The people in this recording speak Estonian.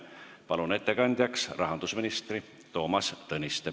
Palun ettekandjaks rahandusminister Toomas Tõniste.